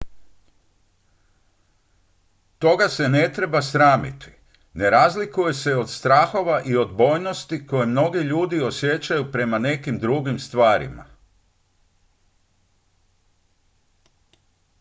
toga se ne treba sramiti ne razlikuje se od strahova i odbojnosti koje mnogi ljudi osjećaju prema nekim drugim stvarima